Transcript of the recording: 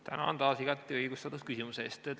Tänan taas igati õigustatud küsimuse eest!